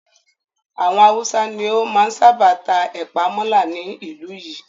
Àwọn Haúsá ni ó máa ń sábà ta ẹ̀pàa mọ́là ní ìlú yìí.